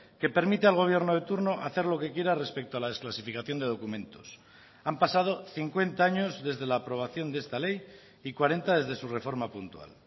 que permite al gobierno de turno hacer lo que quiera respecto a la desclasificación de documentos han pasado cincuenta años desde la aprobación de esta ley y cuarenta desde su reforma puntual